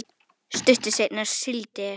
Stuttu seinna sigldi Esjan